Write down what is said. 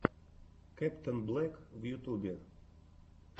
кэптэнблэк в ютубе